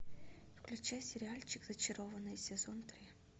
включай сериальчик зачарованные сезон три